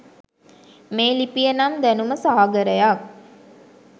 මේ ලිපිය නම් දැනුම සාගරයක්.